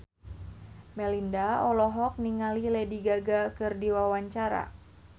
Melinda olohok ningali Lady Gaga keur diwawancara